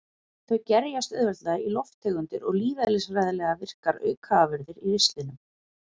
Þau gerjast auðveldlega í lofttegundir og lífeðlisfræðilega virkar aukaafurðir í ristlinum.